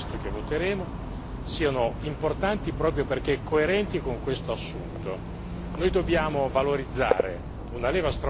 Io credo che alcune delle novità che sono contenute nel testo che voteremo siano importanti proprio perché coerenti con questo assunto.